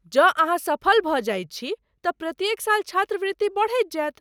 जँ ,अहाँ सफल भऽ जाइत छी तँ प्रत्येक साल छात्रवृति बढ़ैत जायत।